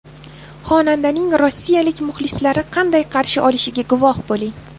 Xonandaning rossiyalik muxlislari qanday qarshi olishiga guvoh bo‘ling.